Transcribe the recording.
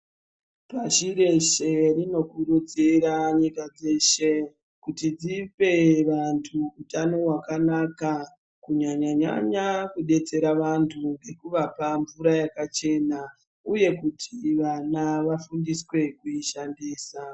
Pashi reshe rinokurudzira nyika dzeshe ,kuti dzipe vantu utano hwakanaka, kunyanya-nyanya kudetsera vantu ngekuvapa mvura yakachena, uye kuti vana vafundiswe kuishandisa.